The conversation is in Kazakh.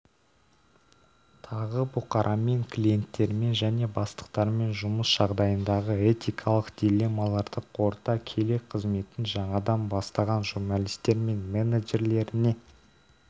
тағы бұқарамен клиенттермен және бастықтармен жұмыс жағдайындағы этикалық диллеммаларды қорыта келе қызметін жаңадан бастаған журналистер мен менеджерлеріне